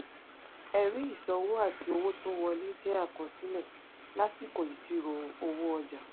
ẹ̀rí ìsanwó àti owó tó wọlé jẹ́ àkọsílẹ̀ lásìkò ìṣirò owó ọjà.